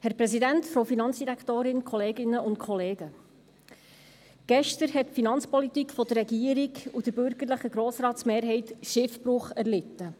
Gestern hat die Finanzpolitik der Regierung und der bürgerlichen Mehrheit des Grossen Rates Schiffbruch erlitten.